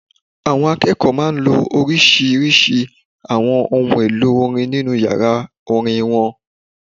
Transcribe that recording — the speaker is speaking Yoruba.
Àwọn akẹ́kọ̀ọ́ máa n lo oríṣiríṣi àwọn ohun èlò orin nínu yàrá orin wọn